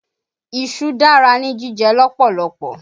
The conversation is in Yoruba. Iṣu dára ní jíjẹ lọ́pọ̀lọpọ̀